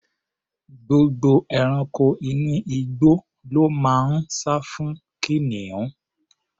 Gbogbo ẹranko inú igbó ló máa ń sá fún kìnìún.